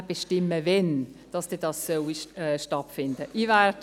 Das Büro bestimmt dann, wann dies stattfinden soll.